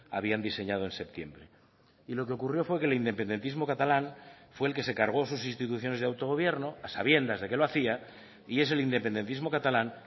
habían diseñado en septiembre y lo que ocurrió fue que el independentismo catalán fue el que se cargó sus instituciones de autogobierno a sabiendas de que lo hacía y es el independentismo catalán